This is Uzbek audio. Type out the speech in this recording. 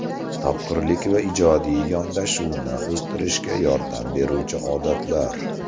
Topqirlik va ijodiy yondashuvni o‘stirishga yordam beruvchi odatlar.